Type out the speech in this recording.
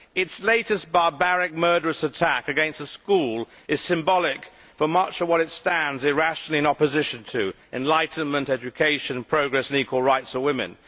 Its latest barbaric, murderous attack against a school is symbolic for much of what it stands, irrationally, in opposition to enlightenment, education, progress and equal rights for women.